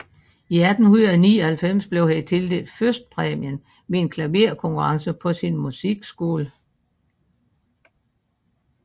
I 1899 blev han tildelt førstepræmien ved en klaverkonkurrence på sin musikskole